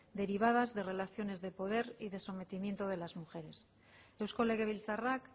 derivadas de relaciones de poder y de sometimiento de las mujeres eusko legebiltzarrak